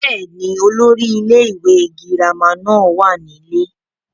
bẹ́ẹ̀ni, olórí ilé ìwé girama náà wà nílé